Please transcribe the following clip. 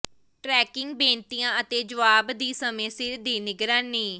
trekking ਬੇਨਤੀਆਂ ਅਤੇ ਜਵਾਬ ਦੀ ਸਮੇਂ ਸਿਰ ਦੀ ਨਿਗਰਾਨੀ